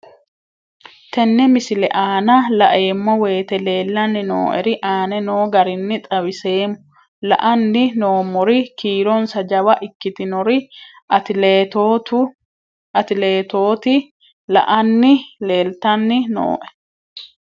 Tenne misile aana laeemmo woyte leelanni noo'ere aane noo garinni xawiseemmo. La'anni noomorri kiironsa jawa ikkitinorri atileetoti la'anni leelitanni nooe.